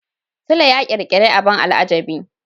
Sule ya ƙirƙiri abin al'ajabi.